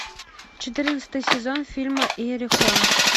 четырнадцатый сезон фильма иерехон